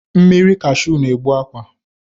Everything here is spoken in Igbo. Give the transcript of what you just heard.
Mmiri kashụ na-egbu akwa